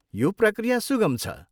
यो प्रक्रिया सुगम छ।